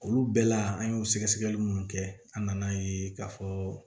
Olu bɛɛ la an ye o sɛgɛsɛgɛli minnu kɛ an nan'a ye k'a fɔ